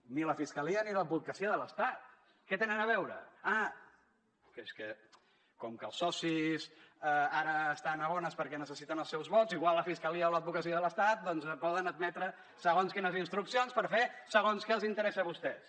ni la fiscalia ni l’advocacia de l’estat què hi tenen a veure ah però és que com que els socis ara estan a bones perquè necessiten els seus vots igual la fiscalia i l’advocacia de l’estat doncs poden admetre segons quines instruccions per fer segons què els interessa a vostès